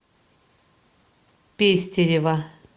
пестерева